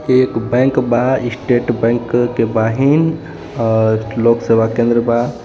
एक बैंक बा state bank के बाहिन और लोक सेवा केन्द्र बा.